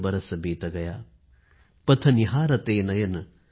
एक बरस बीत गया ।।